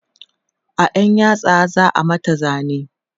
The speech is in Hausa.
a ƴar yatsa za'a mata zane